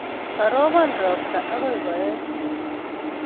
Karobon ropta akoi koech